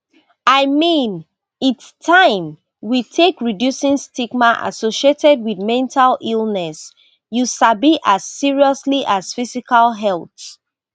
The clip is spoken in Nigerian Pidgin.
i mean its taim we take reducing stigma associated wit mental illness you sabi as seriously as physical health